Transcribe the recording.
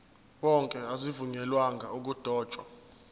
wonke azivunyelwanga ukudotshwa